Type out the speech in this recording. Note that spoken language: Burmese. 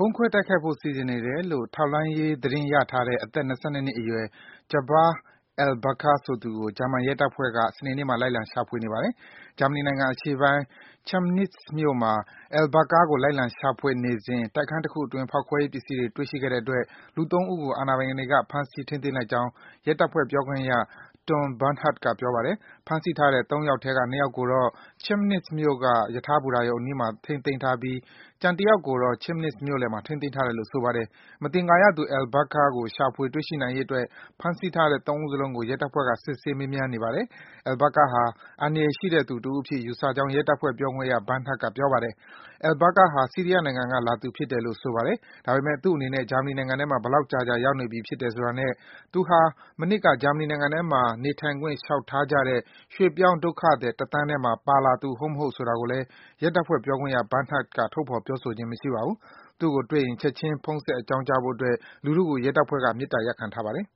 ုံးခွဲတိုက်ခိုက်ဖို့ စီစဉ်နေတယ်လို့ ထောက်လှမ်းရေး သတင်းရထားတဲ့ အသက် ၂၂ နှစ်အရွယ် Jaber Albakr ဆိုသူကို ဂျာမန်ရဲတပ်ဖွဲ့က စနေနေ့မှာ လိုက်လံ ရှာဖွေနေပါတယ်။ ဂျာမနီနိုင်ငံအရှေ့ပိုင်း Chemnitz မြို့မှာ Albakr ကို လိုက်လံရှာဖွေစဉ် တိုက်ခန်းတခုအတွင်း ဖောက်ခွဲရေးပစ္စည်းတွေ တွေ့ရှိခဲ့တဲ့အတွက် လူ ၃ ဦးကို အာဏာပိုင်တွေက ဖမ်းဆီးထိန်းသိမ်းလိုက်ကြောင်း ရဲတပ်ဖွဲ့ ပြောခွင့်ရ Tom Bernhardt က ပြောပါတယ်။ ဖမ်းဆီးထားတဲ့ ၃ ယောက်ထဲက ၂ ယောက်ကိုတော့ Chemnitz မြို့ ရထားဘူတာရုံအနီးမှာ ထိန်းသိမ်းထားပြီး ကျန် ၁ ယောက်ကိုတော့ Chemnitz မြို့လယ်မှာ ထိန်းသိမ်းထားတယ်လို့ ဆိုပါတယ်။ မသင်္ကာရသူ Albakr ကို ရှာဖွေ တွေ့ရှိနိုင်ရေးအတွက် ဖမ်းဆီးထားတဲ့ ၃ ဦးစလုံးကို ရဲတပ်ဖွဲ့က စစ်ဆေး မေးမြန်းနေပါတယ်။ Albakr ဟာ အန္တရာယ်ရှိသူတဦးအဖြစ် ယူဆကြောင်း ရဲတပ်ဖွဲ့ ပြောခွင့်ရ Bernhardt က ပြောပါတယ်။ Albakr ဟာ ဆီးရီးယားနိုင်ငံကလာသူ ဖြစ်တယ်လို့ ဆိုပါတယ်။ ဒါပေမဲ့ သူ့အနေနဲ့ ဂျာမနီနိုင်ငံထဲမှာ ဘယ်လောက်ကြာကြာ ရောက်နေပြီးဖြစ်တယ်ဆိုတာနဲ့ သူဟာ မနှစ်က ဂျာမနီနိုင်ငံမှာ နေထိုင်ခွင့် လျှောက်ထားကြတဲ့ ရွှေ့ပြောင်းဒုက္ခသည် ၁ သန်းထဲမှာ ပါလာသူ ဟုတ် မဟုတ် ဆိုတာကိုလည်း ရဲတပ်ဖွဲ့ ပြောခွင့်ရ Bernhardt က ထုတ်ဖော် ပြောဆိုခြင်း မရှိပါဘူး။ သူ့ကိုတွေ့ရင် ချက်ခြင်း ဖုန်းဆက် အကြောင်းကြားဖို့အတွက် လူထုကို ရဲတပ်ဖွဲ့က မေတ္တာရပ်ခံထားပါတယ်